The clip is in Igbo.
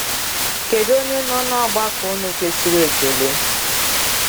Kedụ onye nọ n’ọgbakọ unu kwesịrị ekele?